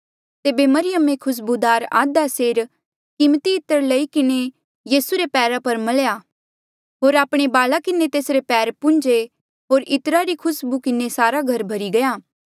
तेबे मरियमे खुस्बूदार आधा सेर कीमती इत्र लई किन्हें यीसू रे पैरा पर मल्या होर आपणे बाला किन्हें तेसरे पैर पून्झे होर इत्रा री खुसबू किन्हें सारा घर भर्ही गया